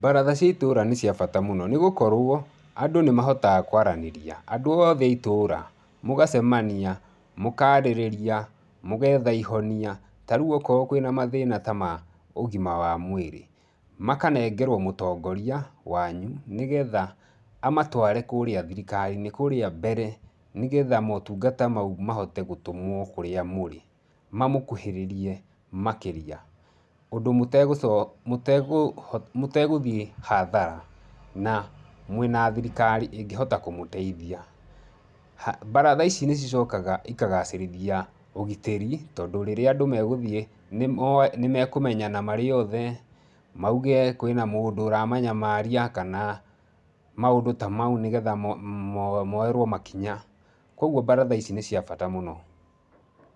Mbaratha cia itũra nĩ cia bata mũno, nĩ gũkorwo andũ nĩmahotaga kũaranĩria. Andũ othe a itũra mũgacemania, mũkaarĩrĩria, mũgetha ihonia, ta rĩu okorwo kwĩna mathĩna ta ma ũgima wa mwĩrĩ, makanengerwo mũtongoria wanyu, nĩgetha amatware kũrĩa thirikari-inĩ, kũrĩa mbere, nĩgetha maũtungata mau mahote gũtũmwo kũrĩa mũrĩ, mamũkuhĩrĩrie makĩria, ũndũ mũtegũthiĩ hathara na mwĩna thirikari ĩngĩhota kũmũteithia. Mbaratha ici nĩ cicokaga ikagacĩrithia ũgitĩri tondũ rĩrĩa andũ megũthiĩ, nĩmekũmenyana marĩothe, mauge kwĩna mũndũ ũramanyamaria kana, maũndũ ta mau nĩgetha moerwo makinya. Kũoguo mbaratha ici nĩ cia bata mũno.